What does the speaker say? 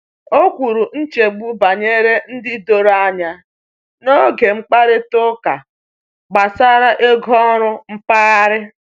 O kwuru nchegbu banyere ịdị doro anya n’oge mkparịta ụka gbasara ego oru mpaghara.